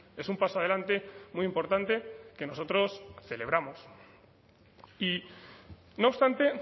es un paso adelante muy importante que nosotros celebramos y no obstante